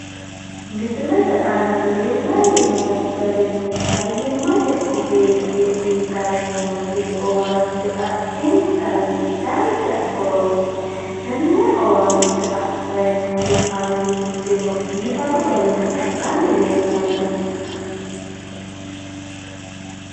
Misilete aanna leellanni noo garinni fayimmate ogeeye uyitanni nooti owaante adintanni dancha horooti tenne owaante adhayi noori amuuwinkeno biifadu garinni adhanni leellano.